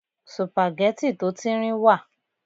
sùpàgẹ́tì tó tíńrín wà